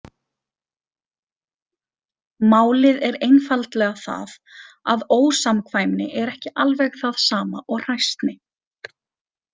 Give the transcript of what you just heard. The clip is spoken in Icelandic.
Málið er einfaldlega það að ósamkvæmni er ekki alveg það sama og hræsni.